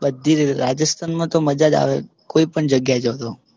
બધી રીતે રાજસ્થાનમાં તો મજા જ આવે કોઈ પણ જગ્યાએ જજો. તુ કેજે આપણે જઈ આવીશું.